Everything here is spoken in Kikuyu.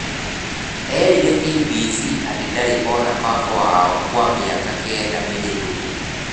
Erire KBC atĩ ndarĩ ona baba wao kwa mĩaka kenda mĩhĩtũku.